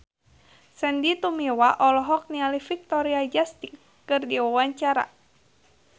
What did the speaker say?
Sandy Tumiwa olohok ningali Victoria Justice keur diwawancara